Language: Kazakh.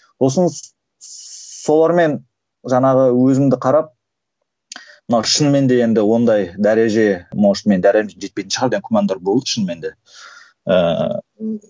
солармен жаңағы өзімді қарап мына шынымен де енді ондай дәреже может мен дәрежем жетпейтін шығар деп күмәндар болды шынымен де ыыы